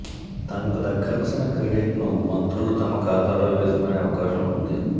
తమకు దక్కాల్సిన క్రెడిట్ను మంత్రులు తమ ఖాతాలో వేసుకునే అవకాశం ఉంది